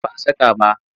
Ba a saka ba.